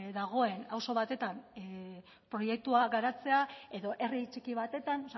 dagoen auzo batetan proiektua garatzea edo herri txiki batetan